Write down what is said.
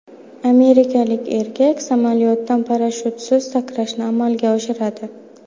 Amerikalik erkak samolyotdan parashyutsiz sakrashni amalga oshiradi.